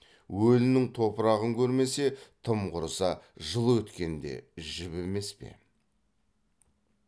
өлінің топырағын көрмесе тым құрыса жыл өткенде жібімес пе